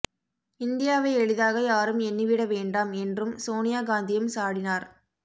இந்தியாவை எளிதாக யாரும் எண்ணிவிட வேண்டாம் என்றும் சோனியா காந்தியும் சாடினார்